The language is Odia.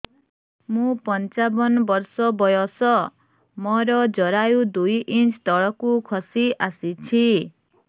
ମୁଁ ପଞ୍ଚାବନ ବର୍ଷ ବୟସ ମୋର ଜରାୟୁ ଦୁଇ ଇଞ୍ଚ ତଳକୁ ଖସି ଆସିଛି